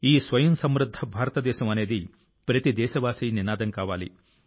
ఈ స్వయం సమృద్ధ భారతదేశ ప్రచారం ప్రతి దేశస్థుని స్వంత ప్రచారం